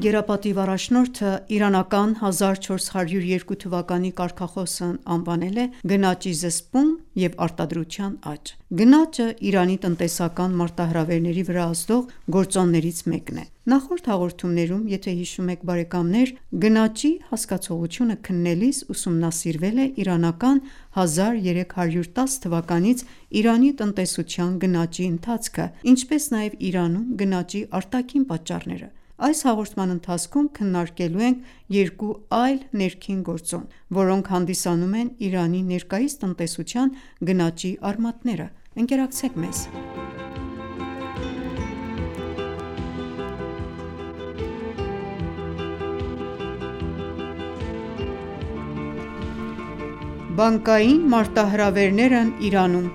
գերապատիվ առաջնորդը իրանական 1402 թվականի կարգախոսն անվանել է «գնաճի զսպում և արտադրության աճ»: Գնաճը Իրանի տնտեսական մարտահրավերների վրա ազդող գործոններից մեկն է։ Նախորդ հաղորդումներում գնաճի հասկացողությունը քննելիս ուսումնասիրվել է իրանական 1310 թվականից Իրանի տնտեսության գնաճի ընթացքը, ինչպես նաև Իրանում գնաճի արտաքին պատճառները։ Այս հաղորդման ընթացքում քննարկելու ենք երկու այլ ներքին գործոն, որոնք հանդիսանում են Իրանի ներկայիս տնտեսության գնաճի արմատները։ Ընկերակցեք մեզ։ Բանկային մարտահրավերներն Իրանում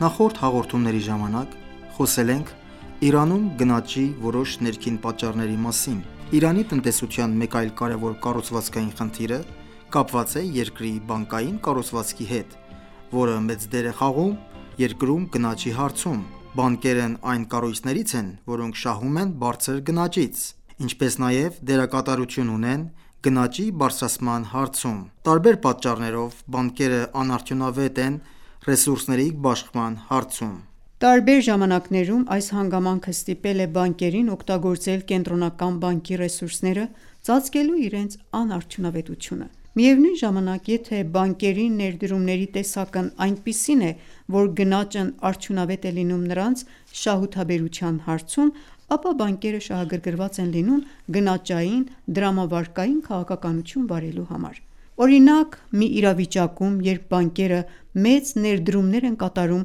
Նախորդ հաղորդումների ժամանակ խոսել ենք Իրանում գնաճի որոշ ներքին պատճառների մասին։ Իրանի տնտեսության մեկ այլ կարևոր կառուցվածքային խնդիրը կապված է երկրի բանկային կառուցվածքի հետ, որը մեծ դեր է խաղում երկրում գնաճի հարցում։ Բանկերն այն կառույցներից են, որոնք շահում են բարձր գնաճից, ինչպես նաև դերակատարություն ունեն գնաճի բարձրացման հարցում։ Տարբեր պատճառներով բանկերը անարդյունավետ են ռեսուրսների բաշխման հարցում: Տարբեր ժամանակներում այս հանգամանքը ստիպել է բանկերին օգտագործել կենտրոնական բանկի ռեսուրսները՝ ծածկելու իրենց անարդյունավետությունը: Միևնույն ժամանակ, եթե բանկերի ներդրումների տեսակն այնպիսին է, որ գնաճն արդյունավետ է լինում նրանց շահութաբերության հարցում, ապա բանկերը շահագռգռված են լինում գնաճային դրամավարկային քաղաքականություն վարելու համար։ Օրինակ, մի իրավիճակում, երբ բանկերը մեծ ներդրումներ են կատարում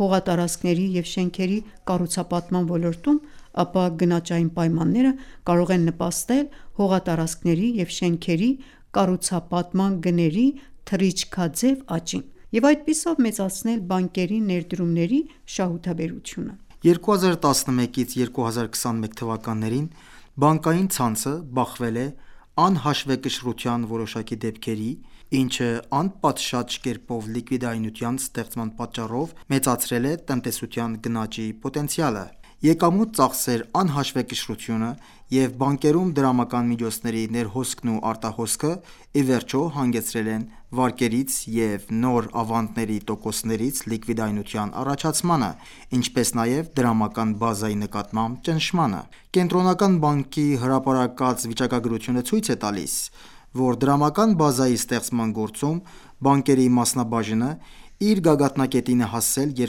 հողատարածքների և շենքերի կառուցապատման ոլորտում, ապա գնաճային պայմանները կարող են նպաստել հողատարածքների և շենքերի կառուցապատման գների թռիչքաձև աճին և այդպիսով մեծացնել բանկերի ներդրումների շահութաբերությունը: 2011-2021 թվականներին բանկային ցանցը բախվել է անհաշվեկշռության որոշակի դեպքերի, ինչը անպատշաճ կերպով լիկվիդայնության ստեղծման պատճառով մեծացրել է տնտեսության գնաճի պոտենցիալը: Եկամուտ-ծախսեր անհաշվեկշռությունը և բանկերում դրամական միջոցների ներհոսքն ու արտահոսքը ի վերջո հանգեցրել են վարկերից և նոր ավանդների տոկոսներից լիկվիդայնության առաջացմանը, ինչպես նաև դրամական բազայի նկատմամբ ճնշմանը: Կենտրոնական բանկի հրապարակած վիճակագրությունը ցույց է տալիս, որ դրամական բազայի ստեղծման գործում բանկերի մասնաբաժինը իր գագաթնակետին հասել է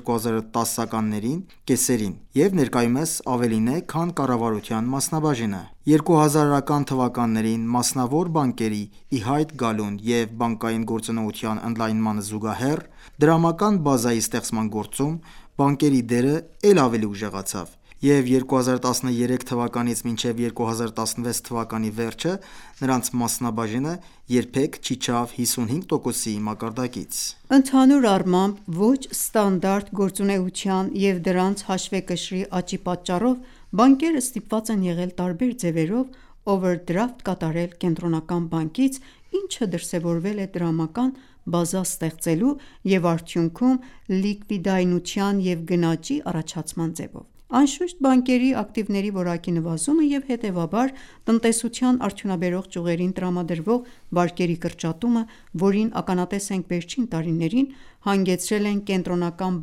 2010-ականների կեսերին և ներկայումս ավելին է, քան կառավարության մասնաբաժինը։ 2000-ական թվականներին մասնավոր բանկերի ի հայտ գալուն և բանկային գործունեության ընդլայնմանը զուգահեռ, դրամական բազայի ստեղծման գործում բանկերի դերը էլ ավելի ուժեղացավ, և 2013 թվականից մինչև 2016 թվականի վերջը նրանց մասնաբաժինը երբեք չիջավ 55%-ի մակարդակից: Ընդհանուր առմամբ, ոչ ստանդարտ գործունեության և դրանց հաշվեկշռի աճի պատճառով բանկերը ստիպված են եղել տարբեր ձևերով օվերդրաֆտ կատարել կենտրոնական բանկից, ինչը դրսևորվել է դրամական բազա ստեղծելու, և արդյունքում լիկվիդայնության և գնաճի առաջացման ձևով։ Անշուշտ բանկերի ակտիվների որակի նվազումը և հետևաբար տնտեսության արդյունաբերող ճյուղերին տրամադրվող վարկերի կրճատումը, որին ականատեսն ենք վերջին տարիներին, հանգեցրել են Կենտրոնական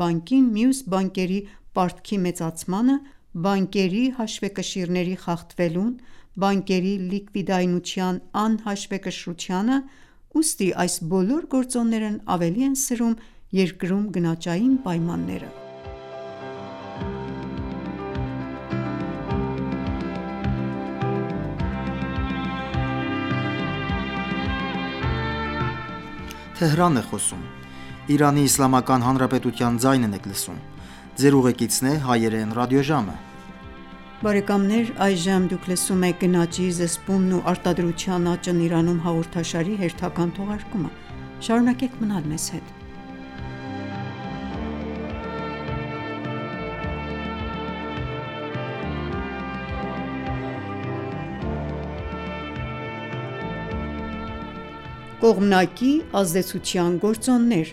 բանկին մյուս բանկերի պարտքի մեծացմանը, բանկերի հաշվեկշիռների խախտվելուն, բանկերի լիկվիդայնության անհաշվեկշռությանը, ուստի այս բոլոր գործոններն ավելի են սրում երկրում գնաճային պայմանները։ Կողմնակի ազդեցության գործոններ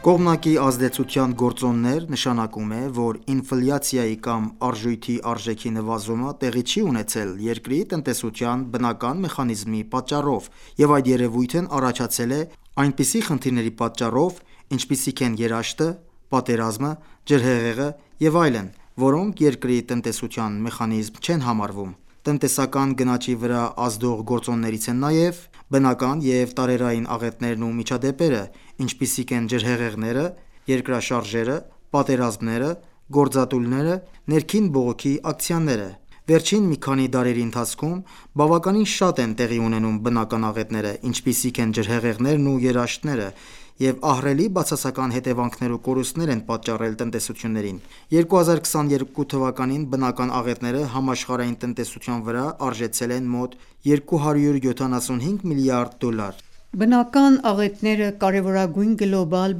«Կողմնակի ազդեցության գործոններ» նշանակում է, որ ինֆլյացիայի կամ արժույթի արժեքի նվազումը տեղի չի ունեցել երկրի տնտեսության բնական մեխանիզմի պատճառով, և այդ երևույթն առաջացել է այնպիսի խնդիրների պատճառով, ինչպիսիք են երաշտը, պատերազմը, ջրհեղեղը և այլն, որոնք երկրի տնտեսության մեխանիզմ չեն համարվում: Տնտեսական գնաճի վրա ազդող գործոններից են նաև բնական և տարերային աղետներն ու միջադեպերը, ինչպիսիք են ջրհեղեղները, երկրաշարժերը, պատերազմները, գործադուլները, ներքին բողոքի ակցիաները։ Վերջին մի քանի դարերի ընթացքում բավականին շատ են տեղի ունենում բնական աղետները, ինչպիսիք են ջրհեղեղներն ու երաշտները, և ահռելի բացասական հետևանքներ ու կորուստներ են պատճառել տնտեսություններին։ 2022 թվականին բնական աղետները համաշխարհային տնտեսության վրա արժեցել են մոտ 275 միլիարդ դոլար։ Բնական աղետները կարևորագույն գլոբալ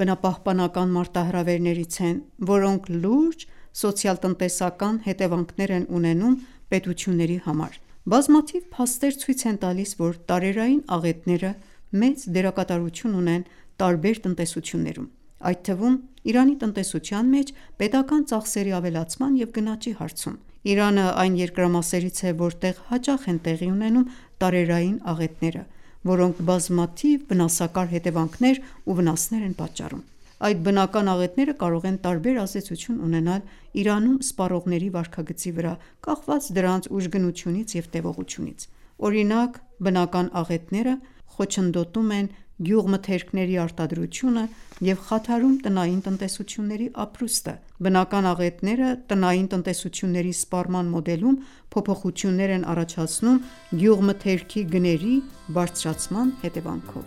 բնապահպանական մարտահրավերներից են, որոնք լուրջ սոցիալ-տնտեսական հետևանքներ են ունենում պետությունների համար։ Բազմաթիվ փաստեր ցույց են տալիս, որ տարերային աղետները մեծ դերակատարություն ունեն տարբեր տնտեսություններում, այդ թվում՝ Իրանի տնտեսության մեջ պետական ծախսերի ավելացման և գնաճի հարցում: Իրանը այն երկրամասերից է, որտեղ հաճախ են տեղի ունենում տարերային աղետները, որոնք բազմաթիվ վնասակար հետևանքներ ու վնասներ են պատճառում: Այդ բնական աղետները կարող են տարբեր ազդեցություն ունենալ Իրանում սպառողների վարքագծի վրա՝ կախված դրանց ուժգնությունից և տևողությունից: Օրինակ՝ բնական աղետները խոչընդոտում են գյուղմթերքների արտադրությունը և խաթարում տնային տնտեսությունների ապրուստը։ Բնական աղետները տնային տնտեսությունների սպառման մոդելում փոփոխություններ են առաջացնում՝ գյուղմթերքի գների բարձրացման հետևանքով: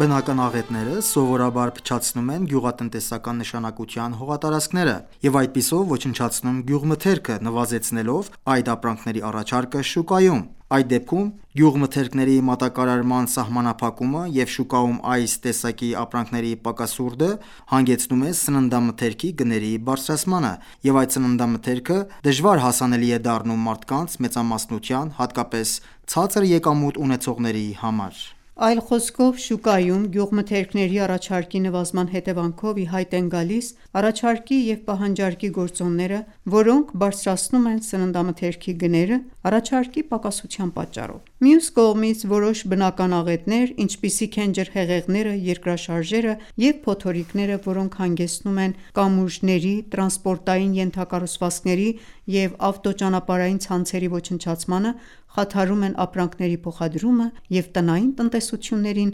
Բնական աղետները սովորաբար փչացնում են գյուղատնտեսական նշանակության հողատարածքերը և այդպիսով ոչնչացնում գյուղմթերքը՝ նվազեցնելով այդ ապրանքների առաջարկը շուկայում։ Այդ դեպքում գյուղմթերքների մատակարարման սահմանափակումը և շուկայում այս տեսակի ապրանքների պակասուրդը հանգեցնում է սննդամթերքի գների բարձրացմանը, և այդ սննդամթերքը դժվար հասանելի է դառնում մարդկանց մեծամասնության, հատկապես ցածր եկամուտ ունեցողների համար: Այլ խոսքով, շուկայում գյուղմթերքների առաջարկի նվազման հետևանքով, ի հայտ են գալիս առաջարկի և պահանջարկի գործոնները, որոնք բարձրացնում են սննդամթերքի գները՝ առաջարկի պակասության պատճառով։ Մյուս կողմից, որոշ բնական աղետներ, ինչպիսիք են ջրհեղեղները, երկրաշարժերը և փոթորիկները, որոնք հանգեցնում են կամուրջների, տրանսպորտային ենթակառուցվածքների և ավտոճանապարհային ցանցերի ոչնչացմանը, խաթարում են ապրանքների փոխադրումը և տնային տնտեսություններին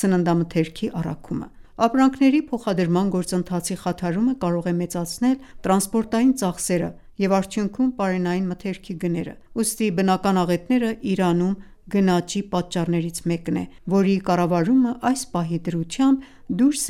սննդամթերքի առաքումը: Ապրանքների փոխադրման գործընթացի խաթարումը կարող է մեծացնել տրանսպորտային ծախսերը և արդյունքում՝ պարենային մթերքի գները։ Ուստի բնական աղետները Իրանում գնաճի պատճառներից մեկն է, որի կառավարումը այս պահի դրությամբ դուրս